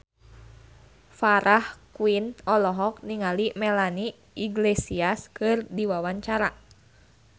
Farah Quinn olohok ningali Melanie Iglesias keur diwawancara